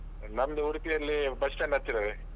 ನಮ್ದು ಉಡುಪಿಯಲ್ಲಿ bus stand ಹತ್ತಿರವೇ.